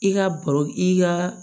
I ka baro i ka